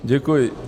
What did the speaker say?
Děkuji.